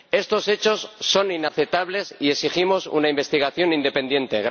Estos hechos son inaceptables y exigimos una investigación independiente.